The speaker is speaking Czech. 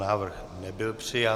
Návrh nebyl přijat.